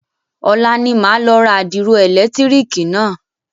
Ọ̀la ni màá lọ ra àdìro ẹ̀lẹ̀tírìkì náà.